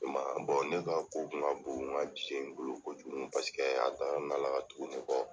I ma ye , ne ka ko kun ka bon n ka cɛ in bolo ko jugu. Paseke y'a dara ne ka tuguni ne kɔ